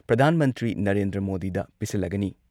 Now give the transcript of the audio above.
ꯄ꯭ꯔꯙꯥꯟ ꯃꯟꯇ꯭ꯔꯤ ꯅꯔꯦꯟꯗ꯭ꯔ ꯃꯣꯗꯤꯗ ꯄꯤꯁꯤꯜꯂꯒꯅꯤ꯫